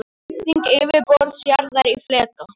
Skipting yfirborðs jarðar í fleka.